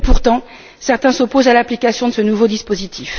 Et pourtant certains s'opposent à l'application de ce nouveau dispositif.